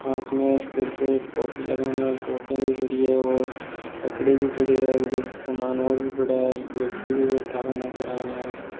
पास में सिर पे एक टोपी लगाने वाली टोपियां भी पड़ी है और कपड़े भी पड़ी है उधर सामान और भी पड़ा है एक व्यक्ति भी बैठा हुआ नजर आ रहा है।